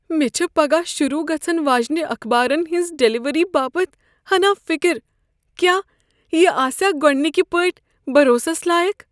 مےٚ چھےٚ پگاہ شروع گژھن واجِنہِ اخبارن ہنٛز ڈلیوری باپت ہنا فکر۔ کیاہ یہ آسیا گۄڈٕ نِكہِ پٲٹھۍ بروسس لایق ۔